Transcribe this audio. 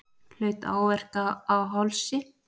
Hlaut áverka á hálsi